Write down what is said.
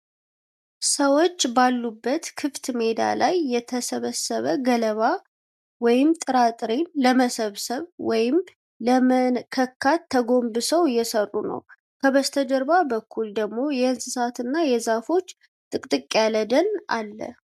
ሰዎች ባሉበት ክፍት ሜዳ ላይ የተሰበሰበ ገለባ/ጥራጥሬን ለመሰብሰብ/ለመነካከት ተጎንብሰው እየሠሩ ነው። ከበስተጀርባ በኩል ደግሞ የእንስሳትና የዛፎች ጥቅጥቅ ያለ ደን አለ።